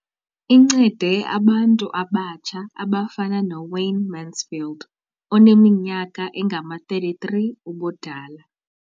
Incede abantu abatsha abafana noWayne Mansfield oneminyaka engama-33 ubudala.